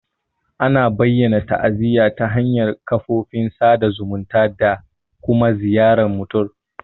Ana bayyana ta'aziyya ta hanyar kafofin sada zumunta da kuma ziyartar mutum.